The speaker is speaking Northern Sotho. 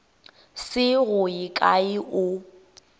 se go ye kae o